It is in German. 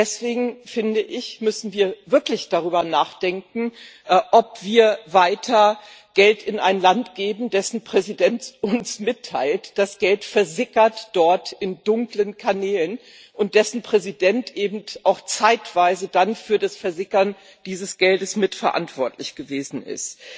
Deswegen finde ich, müssen wir wirklich darüber nachdenken, ob wir weiter Geld in ein Land geben, dessen Präsident uns mitteilt, dass Geld dort in dunklen Kanälen versickert, und dessen Präsident eben auch zeitweise dann für das Versickern dieses Geldes mitverantwortlich gewesen ist.